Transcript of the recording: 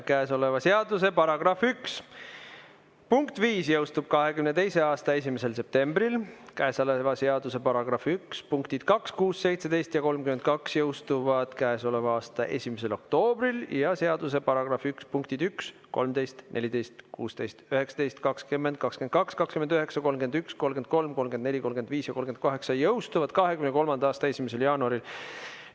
Käesoleva seaduse § 1 punkt 5 jõustub 2022. aasta 1. septembril, käesoleva seaduse § 1 punktid 2, 6, 17 ja 32 jõustuvad käesoleva aasta 1. oktoobril ja seaduse § 1 punktid 1, 13, 14, 16, 19, 20, 22, 29, 31, 33, 34, 35 ja 38 jõustuvad 2023. aasta 1. jaanuaril.